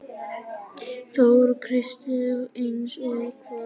Þóra Kristín: Eins og hvað?